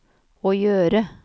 å gjøre